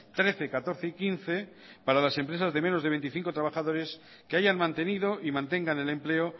trece catorce y quince para las empresas de menos de veinticinco trabajadores que hayan mantenido y mantengan el empleo